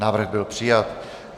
Návrh byl přijat.